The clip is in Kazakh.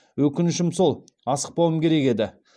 өкінішім сол асықпауым керек еді